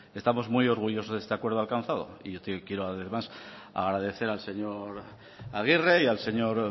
estamos muy orgullosos de este acuerdo alcanzado y yo quiero además agradecer al señor aguirre y al señor